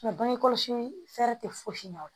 Nka bange kɔlɔsi fɛɛrɛ tɛ fosi ɲɛna